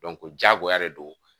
diyagoya de don